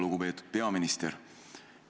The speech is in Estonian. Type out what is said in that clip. Lugupeetud peaminister!